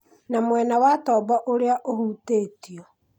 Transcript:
na mwena wa tombo ũrĩa ũhutĩtio